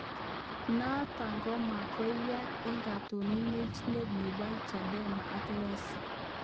Noto ko magoi yaak eng katononchinet nebo Chadema ko Lissu